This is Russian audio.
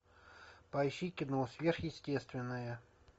поищи кино сверхъестественное